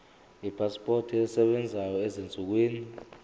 ipasipoti esebenzayo ezinsukwini